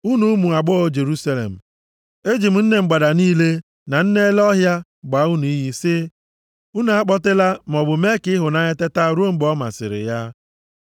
Unu ụmụ agbọghọ Jerusalem, eji m nne mgbada niile na nne ele ọhịa gbaa unu iyi sị, unu akpọtela, maọbụ mee ka ịhụnanya teta ruo mgbe o masịrị ya.